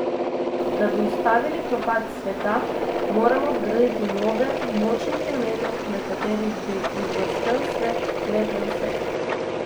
Da bi ustavili propad sveta, moramo zgraditi nove, močne temelje, na katerih bi vzbrstel svet, lep za vse.